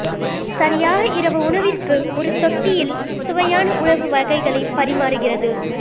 சரியாக இரவு உணவிற்கு ஒரு தொட்டியில் சுவையான உணவு வகைகளை பரிமாறுகிறது